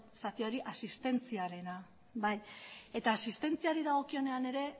zati hori asistentziarena asistentziari dagokionean ere